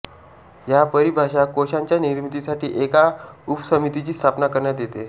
या परिभाषा कोशांच्या निर्मितीसाठी एका उपसमितीची स्थापना करण्यात येते